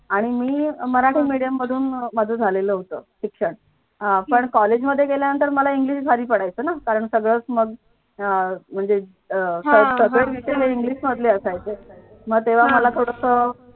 आणि मी मराठी medium मधून झालेलं होत शिक्षण अह पण college मध्ये गेला नंतर की मला english भारी पाडायचं ना कारण सगळंच मग अं म्हणजे अं शब्द सगळे विषय english मध्ये असायचे मग तेव्हा मला थोडंसं.